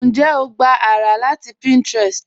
Ǹjẹ́ o gbà ará láti Pinterest?